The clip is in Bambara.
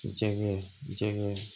Jɛgɛ jɛgɛ